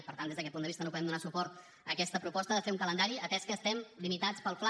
per tant des d’aquest punt de vista no podem donar suport a aquesta proposta de fer un calendari atès que estem limitats pel fla